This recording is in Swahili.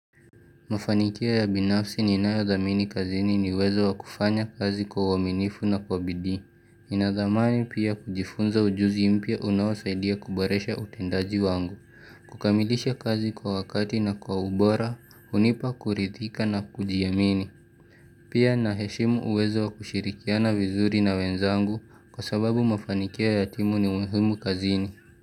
Mafanikio ya binafsi ninayodhamini kazini ni uwezo wa wa kufanya kazi kwa uaminifu na kwa bidii, nina dhamani pia kujifunza ujuzi mpya unaosaidia kuboresha utendaji wangu, kukamilisha kazi kwa wakati na kwa ubora, hunipa kurithika na kujiamini, pia naheshimu uwezo wakushirikiana vizuri na wenzangu kwa sababu mafanikio ya timu ni muhimu kazini.